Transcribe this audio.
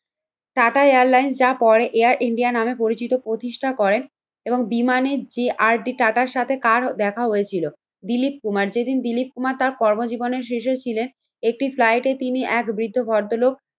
Tata airlines যা পরে Air India নামে পরিচিত। প্রতিষ্ঠা করেন এবং বিমানে যে আর ডি টাটার সাথে কার দেখা হয়েছিল? দিলীপ কুমার, যেদিন দিলীপ কুমার তার কর্মজীবনে শেষেও ছিলেন। একটি ফ্লাইটে তিনি এক বৃদ্ধ ভদ্রলোক